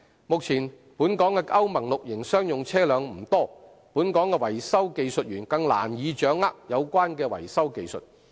目前，本港的歐盟 VI 期商用車輛不多，本港的維修技術員更難以掌握有關的維修技術。